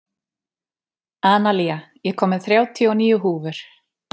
Analía, ég kom með þrjátíu og níu húfur!